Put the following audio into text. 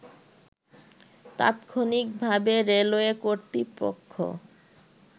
তাৎক্ষনিকভাবে railway কর্তৃপক্ষ